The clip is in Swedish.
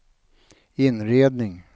inredning